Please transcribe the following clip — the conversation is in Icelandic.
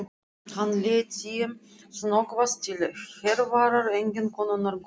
Hann leit sem snöggvast til Hervarar, eiginkonunnar góðlegu.